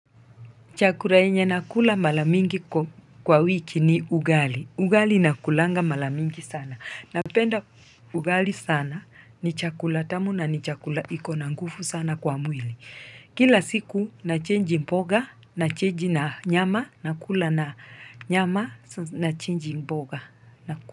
Chakula yenye nakula mara mingi kwa wiki ni ugali. Ugali nakulanga mara mingi sana. Napenda ugali sana ni chakula tamu na ni chakula iko na nguvu sana kwa mwili. Kila siku nachenji mboga nachenji na nyama nakula na nyama na chenji mboga nakula.